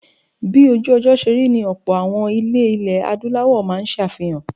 Bí ojú-ọjọ́ ṣe rí ni ọlpọ̀ àwọn ilé ilẹ̀ Adúláwọ̀ máa ń ṣe àfihàn.